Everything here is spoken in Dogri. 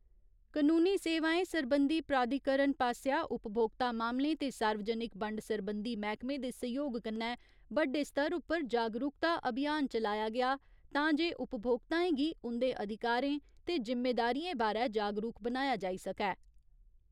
कानूनी सेवाएं सरबंधी प्राधिकरण पास्सेआ उपभोक्ता मामलें ते सार्वजनिक बंड सरबंधी मैह्‌कमे दे सैह्‌योग कन्नै बड्डे स्तर उप्पर जागरूकता अभियान चलाया गेआ तांजे उपभोक्ताएं गी उंदे अधिकारें ते जिम्मेदारियें बारै जागरूक बनाया जाई सकै।